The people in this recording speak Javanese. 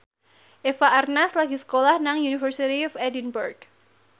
Eva Arnaz lagi sekolah nang University of Edinburgh